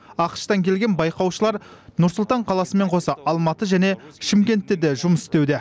ақш тан келген байқаушылар нұр сұлтан қаласымен қоса алматы және шымкентте де жұмыс істеуде